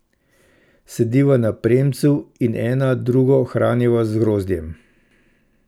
Sediva na premcu in ena drugo hraniva z grozdjem.